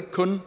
kun